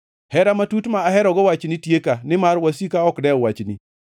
Hera matut ma aherogo wachni tieka, nimar wasika ok dew wachni.